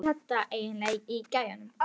Hvaða rugl er þetta eiginlega í gæjanum?